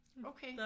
Okay